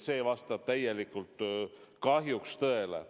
See vastab kahjuks tõele.